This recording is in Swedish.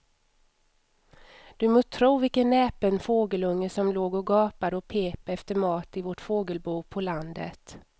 Du må tro vilken näpen fågelunge som låg och gapade och pep efter mat i vårt fågelbo på landet.